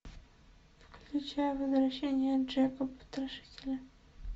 включай возвращение джека потрошителя